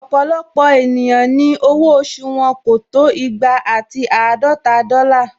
Ọ̀pọ̀lọpọ̀ èèyàn ni owó oṣù wọn kò tó igba ati àádọta dọ́là